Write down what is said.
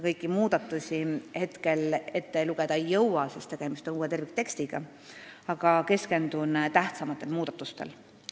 Kõiki muudatusi siin ette lugeda ei jõua, sest tegemist on uue terviktekstiga, aga keskendun tähtsamatele muudatustele.